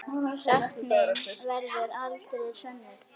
Sekt mín verður aldrei sönnuð.